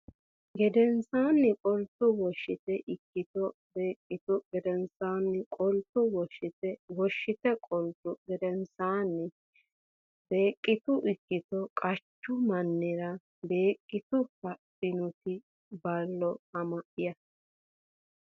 gedensaanni qoltu Woshshite ikkito Beeggitu gedensaanni qoltu Woshshite Woshshite qoltu gedensaanni Beeggitu ikkito qachu mannira Beeggitu haadhannoti Ballo ama ya !